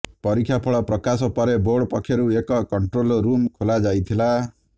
ପରୀକ୍ଷା ଫଳ ପ୍ରକାଶ ପରେ ବୋର୍ଡ ପକ୍ଷରୁ ଏକ କଣ୍ଟ୍ରୋଲ ରୁମ୍ ଖୋଲା ଯାଇଥିଲା